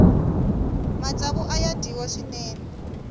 matsavu aya dyiwa swinene